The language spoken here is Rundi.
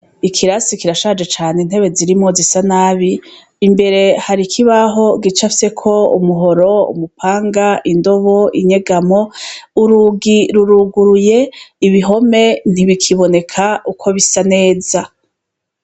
Ikirasi kirashaje cane intebe zirimwo zisa nabi imbere hari ikibaho gicafyeko umuhoro, umupanga, indobo, inyegamo, urugi ruruguruye ibihome ntibikiboneka uko bisa neza.